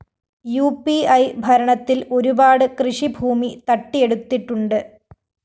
ഉ P A ഭരണത്തില്‍ ഒരുപാട് കൃഷിഭൂമി തട്ടിയെടുത്തിട്ടുണ്ട്